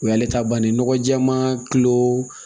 O y'ale ta bannen nɔgɔ jɛɛma kilo